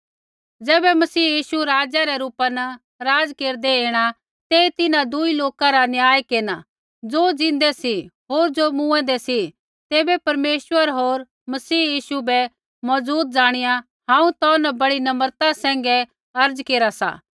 ज़ैबै मसीह यीशु राजा रै रूपा न राज़ केरदै ऐणा तेई तिन्हां दुई लोका रा न्याय केरना ज़ो ज़िन्दै सी होर ज़ो मूँऐंदै सी तैबै परमेश्वर होर मसीह यीशु बै मौजूद ज़ाणिया हांऊँ तौ न बड़ी नम्रता सैंघै अर्ज़ा केरा सा